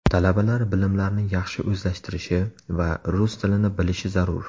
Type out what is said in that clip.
Talabalar bilimlarni yaxshi o‘zlashtirishi va rus tilini bilishi zarur.